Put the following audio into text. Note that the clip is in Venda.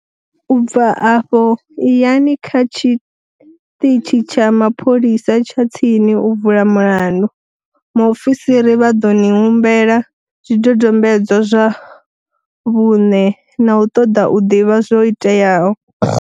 U bva afho iyani kha tshiṱitshi tsha mapholisa tsha tsini u vula mulandu. Muofisiri vha ḓo ni humbela zwidodombedzwa zwa vhuṋe na u ṱoḓa u ḓivha zwo iteaho.